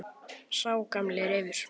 Sá gamli refur.